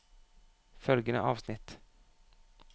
Følgende avsnitt